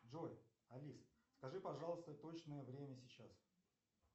джой алиса скажи пожалуйста точное время сейчас